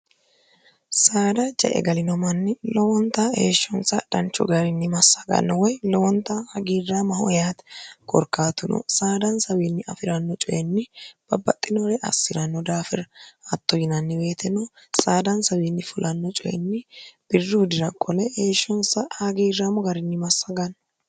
saada jae galinomanni lowonta heeshshonsa dhanchu garinni massaganno woy lowonta hagiirra mahoyate gorkaatuno saadaansawiinni afi'ranno coyinni babbaxxinoore assi'ranno daafira hatto yinanni weetino saadaansawiinni fulanno coyinni birru dira kole heeshshonsa hagiirraamo garinni massaganno